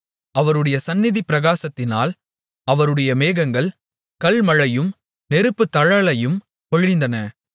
அவருடைய சந்நிதிப் பிரகாசத்தினால் அவருடைய மேகங்கள் கல்மழையும் நெருப்புத்தழலையும் பொழிந்தன